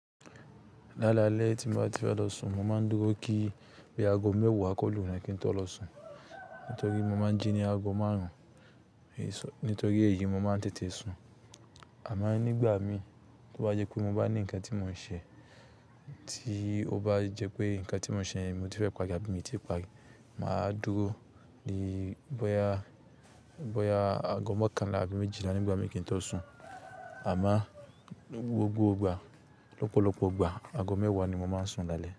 Lálalẹ́ tí mo bá ti fẹ́ lọ sun, mo máa ń dúró kí bí aago mẹ́wàá ko lu na kí n tó lọ sun. Nítorí mo máa ń jí ní aago márùn-ún, nítorí èyí mo máa ń tètè sun. Àmọ nígbà mi tó bá jẹ́ pé mo bá ní ńǹkan tí mò ń ṣe, tí ó bá jẹ́ pé ǹkan tí mò ń ṣe mi ò tí fẹ́ pari, àbí mi ti pari, mà á dúró di bóyá, bóyá aago mọkànlá àbí méjìlá nígbà mí kí n tó sun. Àmọ gbogbo ìgbà, lọ́pọ̀lọpọ̀ ìgbà aago mẹ́wàá ni mo máa ń sun lálẹ́.